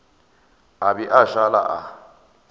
a be a šale a